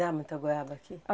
Dá muita goiaba aqui?